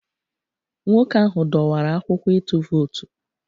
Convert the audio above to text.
Nwoke ahụ dọwara akwụkwọ ịtụ vootu